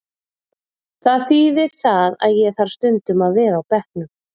Það þíðir það að ég þarf stundum að vera á bekknum.